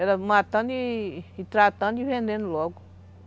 Era matando e tratando e vendendo logo.